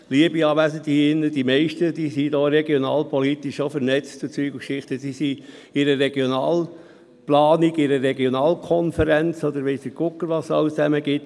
Liebe Anwesende, die meisten hier sind regionalpolitisch vernetzt, sind in einer Regionalplanung, einer Regionalkonferenz oder weiss der Kuckuck, was es alles gibt.